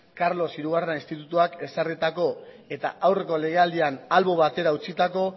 carlos hirugarren institutuak ezarritako eta aurreko legealdian albo batera utzitako